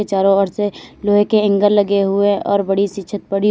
चारों ओर से लोहे के एंगल लगे हुए और बड़ी छत पड़ी--